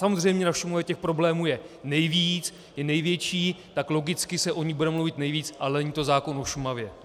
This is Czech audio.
Samozřejmě na Šumavě těch problémů je nejvíc, je největší, tak logicky se o ní bude mluvit nejvíc, ale není to zákon o Šumavě.